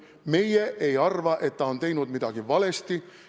Meie ei arva, et ta on midagi valesti teinud.